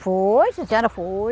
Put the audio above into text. Foi, sim senhora, foi.